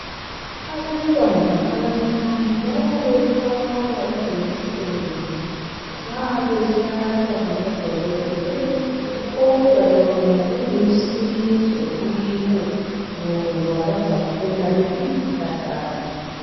Abantwana abancane bayayesaba ijekiseni nxa behlatshwa ngabodokotela kodwa yona ilusizo kibo ngoba bazakhula belempilakahle.